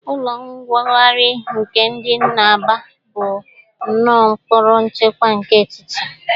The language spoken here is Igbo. Ụlọ nwogari nke dị n'Aba bụ ụọ mkpọrọ nchekwa nke etiti.